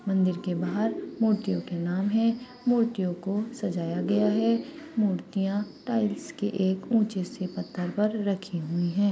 मंदिर के बहार मूर्तियों के नाम है मूर्तियों को सजाया गया है मूर्तिया टाइल्स के एक ऊंचे से पत्थर पर रखी हुई है।